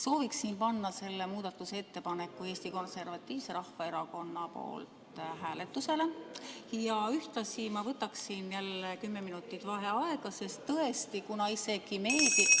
Sooviksin panna selle muudatusettepaneku Eesti Konservatiivse Rahvaerakonna nimel hääletusele ja ühtlasi ma võtaksin jälle kümme minutit vaheaega, sest tõesti, kuna isegi meedia ...